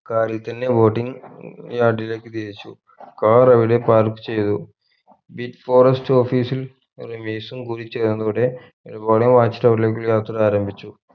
car ൽ തന്നെ boating yard ലേക് തിരിച്ചു car അവിടെ park ചെയ്തു beach forest office ൽ റമീസും കൂടിച്ചേർന്നിവിടെ watch tower ലേക്ക് യാത്ര ആരംഭിച്ചു